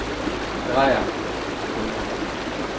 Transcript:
Dreier & Co.